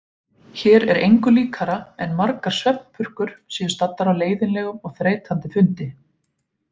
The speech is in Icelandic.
Hér er engu líkara en margar svefnpurkur séu staddar á leiðinlegum og þreytandi fundi.